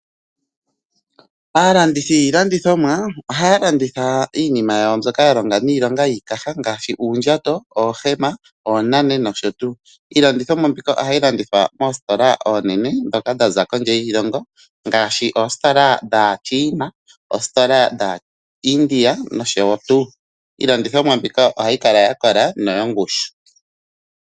Aalandithi yiilandithomwa ohaya landitha iinima yawo mbyoka yalonga niilonga yiikaha ngaashi uundjato, oohema , oonane noshotuu. Iilandithomwa mbika ohayi landithwa moostola oonene ndhoka dha za kondje yiilongo ngaashi oostola dhaaChina noostola dhaaIndia noshotuu. Iilandithomwa mbika ohayi kala yakola noyongushu.